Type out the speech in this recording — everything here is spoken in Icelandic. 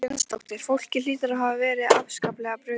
Erla Hlynsdóttir: Fólki hlýtur að hafa verið afskaplega brugðið?